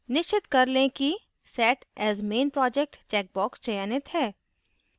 निश्चित कर लें कि set as main project checkbox चयनित है